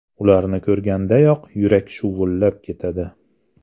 Ularni ko‘rgandayoq yurak shuvullab ketadi!